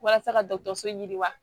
Walasa ka dɔgɔtɔrɔso ɲini wa